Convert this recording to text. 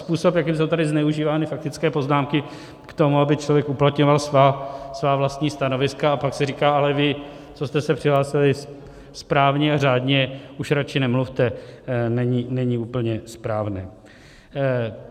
Způsob, jakým jsou tady zneužívány faktické poznámky k tomu, aby člověk uplatňoval svá vlastní stanoviska, a pak si říká ale vy, co jste se přihlásili správně a řádně, už radši nemluvte, není úplně správný.